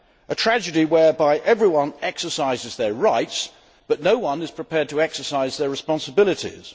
It is a tragedy where everyone exercises their rights, but no one is prepared to exercise their responsibilities.